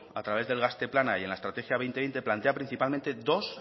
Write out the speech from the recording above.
a través del gazte plana y en la estrategia dos mil veinte plantea principalmente dos